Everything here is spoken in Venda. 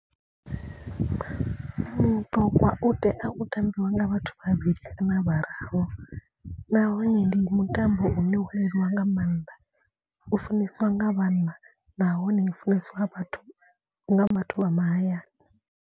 Muṱogwa u tea u tambiwa nga vhathu vhavhili kana vhararu nahone ndi mutambo une wo leluwa nga maanḓa. U funesiwa nga vhanna nahone u funesiwa vhathu nga vhathu vha mahayani.